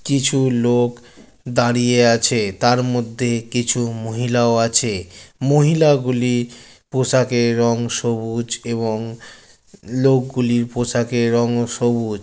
কিছু লোক দাঁড়িয়ে আছে তার মধ্যে কিছু মহিলাও আছে মহিলাগুলি পোশাকের রং সবুজ এবং লোকগুলির পোশাকের রঙও সবুজ।